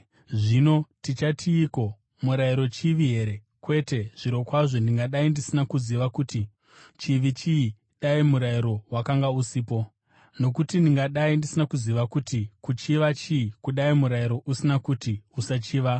Zvino tichatiiko? Murayiro chivi here? Kwete! Zvirokwazvo ndingadai ndisina kuziva kuti chivi chii dai murayiro wakanga usipo. Nokuti ndingadai ndisina kuziva kuti kuchiva chii kudai murayiro usina kuti, “Usachiva.”